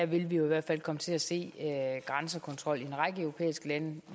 vil vi i hvert fald komme til at se grænsekontrol i en række europæiske lande